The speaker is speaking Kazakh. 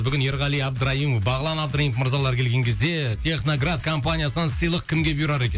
бүгін ерғали абдраимов бағлан абдраимов мырзалар келген кезде техноград компаниясынан сыйлық кімге бұйырар екен